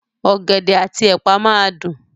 Ọ̀gẹ̀dẹ̀ àti ẹ̀pà máa dùn.